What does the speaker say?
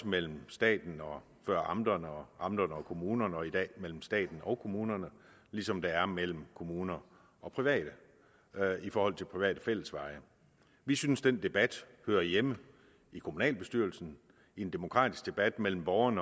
mellem staten og amterne og amterne og kommunerne og i dag er mellem staten og kommunerne ligesom der er mellem kommuner og private i forhold til private fællesveje vi synes den debat hører hjemme i kommunalbestyrelsen i en demokratisk debat mellem borgerne